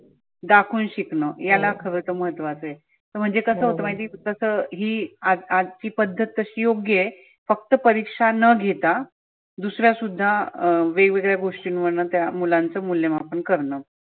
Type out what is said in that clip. दाखवून शिकवनं याला खर महत्व आहे. तर म्हणजे कसं होत माहिती का जसं ही आज आजची पद्धत तशी योग्य आहे. फक्त परिक्षा न घेता दुसरा सुद्धा अं वेगवेगळ्या गोष्टींवरन त्या मुलांच मुल्यामापन करन.